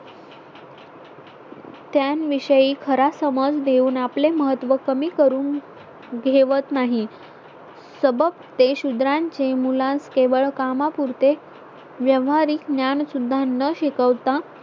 त्या विषयी खरा समज देऊन आपले महत्त्व कमी करून घेवत नाही सबक ते शुद्रांचे मुलांस केवळ कामा पुरते व्यवहारिक ज्ञान सुद्धा न शिकवता